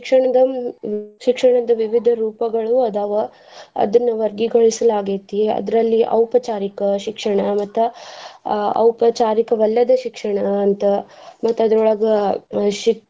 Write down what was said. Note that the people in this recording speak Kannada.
ಶಿಕ್ಷಣದ ಶಿಕ್ಷಣದ ವಿವಿಧ ರೂಪಗಳು ಅದಾವ ಅದನ್ನ ವರ್ಗೀಕರಿಸಲಾಗೆತಿ ಅದ್ರಲ್ಲಿ ಔಪಚಾರಿಕ ಶಿಕ್ಷಣ ಮತ್ತ್ ಆಹ್ ಔಪಚಾರಿಕವಲ್ಲದ ಶಿಕ್ಷಣ ಅಂತ ಮತ್ತ್ ಅದ್ರೋಳಗ ಆಹ್ ಷಿ~ .